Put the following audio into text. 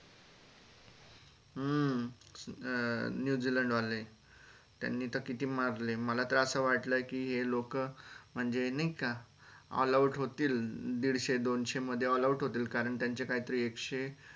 हम्म अं New Zealand वाले त्यांनी तर किती मारले मला तर असं वाटलं कि हे लोक म्हणजे नाही का all out होतील दीडशे दोनशे मध्ये all out होतील का run त्यांचे काहीतरी एकशे